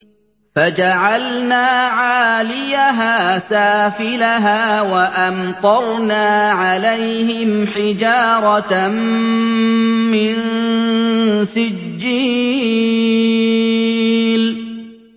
فَجَعَلْنَا عَالِيَهَا سَافِلَهَا وَأَمْطَرْنَا عَلَيْهِمْ حِجَارَةً مِّن سِجِّيلٍ